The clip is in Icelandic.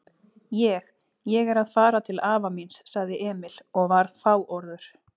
Ég. ég er að fara til afa míns, sagði Emil og var fáorður.